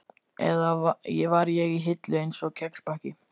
Eða var ég í hillu, einsog kexpakki?